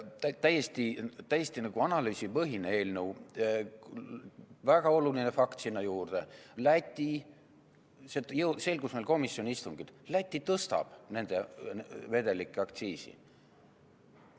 Täiesti analüüsipõhine eelnõu, väga oluline fakt sinna juurde, see selgus meil komisjoni istungil: Läti tõstab nende vedelike aktsiisi.